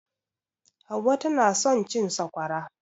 Hauwa tana son cin Sakwara.